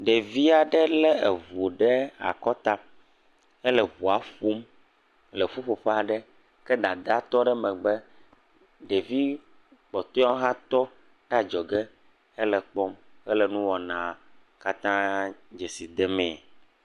Ɖevi aɖe lé eŋu ɖe akɔta hele ŋua ƒom le ƒuƒoƒe aɖe. Ke dadaa tɔ ɖe megbe. Ɖevi kpɔtɔewo hã tɔ ɖe adzɔge helee kpɔm hele nuwɔna katã desi demee.